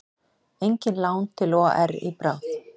Engin lán til OR í bráð